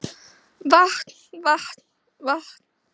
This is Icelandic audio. Vatn vatn vatn